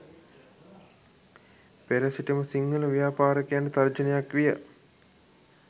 පෙර සිටම සිංහල ව්‍යාපාරිකයන්ට තර්ජනයක් විය